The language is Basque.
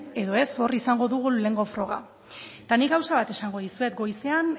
edo ez hor izango dugu lehenengo froga eta nik gauza bat esango dizuet goizean